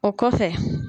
O kɔfɛ